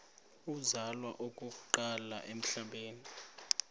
uzalwa okokuqala emhlabeni